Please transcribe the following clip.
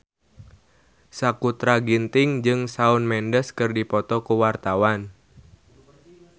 Sakutra Ginting jeung Shawn Mendes keur dipoto ku wartawan